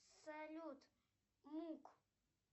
салют мук